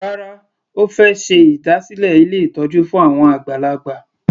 Rárá, Ó fẹ́ ṣe ìdásílẹ̀ ilé ìtọ́jú fún àwọn àgbàlagbà.